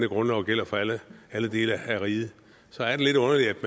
grundloven gælder for alle alle dele af riget så er det lidt underligt